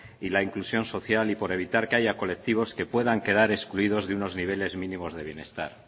y la inclusión social y por evitar que haya colectivos que puedan quedar excluidos de unos niveles mínimos de bienestar